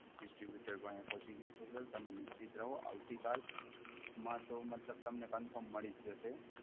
distributor વાંહે પોંચી ગ્યું છે Sir, તમે નિશ્ચિત રહો આવતી કાલ માં તો મતલબ તમને Confirm મળી જ જશે!